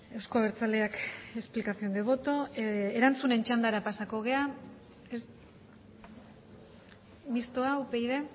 euzko abertzaleak explicación de voto erantzunen txandara pasako gara mistoa upyd